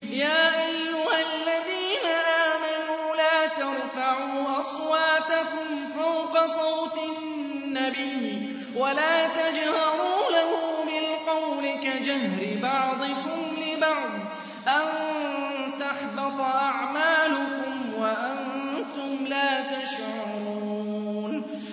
يَا أَيُّهَا الَّذِينَ آمَنُوا لَا تَرْفَعُوا أَصْوَاتَكُمْ فَوْقَ صَوْتِ النَّبِيِّ وَلَا تَجْهَرُوا لَهُ بِالْقَوْلِ كَجَهْرِ بَعْضِكُمْ لِبَعْضٍ أَن تَحْبَطَ أَعْمَالُكُمْ وَأَنتُمْ لَا تَشْعُرُونَ